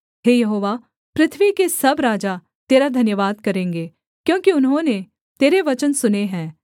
हे यहोवा पृथ्वी के सब राजा तेरा धन्यवाद करेंगे क्योंकि उन्होंने तेरे वचन सुने हैं